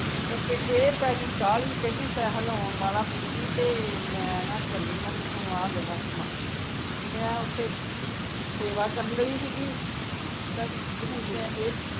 ਆਹੋ ਫੇਰ ਇਹ ਪੈ ਗਈ ਕਾਹਲੀ ਕਹਿੰਦੀ ਸਹਿਲ ਆਉਣ ਵਾਲਾ ਬੀਬੀ ਤੇ ਮੈਂ ਨਾ ਚਲੀ ਆ ਤੂ ਆਹ ਲੈਲਾ ਸਮਾਨ ਮੈਂ ਉੱਥੇ, ਸੇਵਾ ਕਰਨ ਡਈ ਸੀਗੀ ਤਾਂ ਜਿੱਥੇ